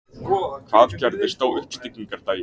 Hvað gerðist á uppstigningardaginn?